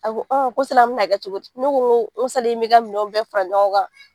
A ko sali an mɛna kɛ cogo di ne ko n ko n ko sali i m'i ka minɛw bɛɛ fara ɲɔgɔn kan